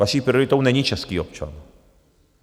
Vaší prioritou není český občan.